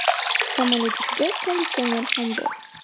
Samolyot ichida konditsioner ham bor.